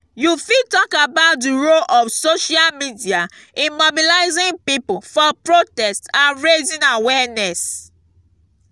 you fit talk about di role of social media in mobilizing people for protest and raising awareness.